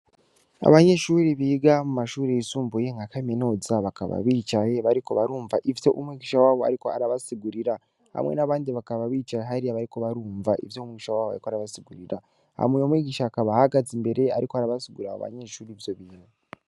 Abanyeshuri biga mu mashuri yisumbuye nka kaminuza bakaba bicaye bariko barumva ivyo umwigisha wabo ariko arabasigurira, hamwe n'abandi bakaba bicaye hariya bariko barumva ivyo umwuigisha wabo bariko arabasigurira, hama uye mwigisha akaba hagaze imbere ariko arabasugurra abo banyeshuri vyo bintu.